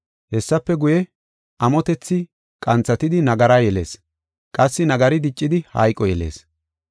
Hessafe guye, amotethi qanthatidi nagara yelees; qassi nagari diccidi hayqo yelees.